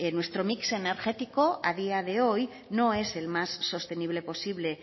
nuestro mix energético a día de hoy no es el más sostenible posible